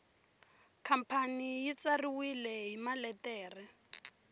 khampani ri tsariwile hi maletere